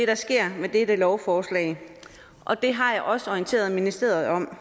der sker med dette lovforslag og det har jeg også orienteret ministeriet om